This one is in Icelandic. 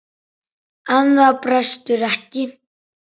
En það brestur ekki.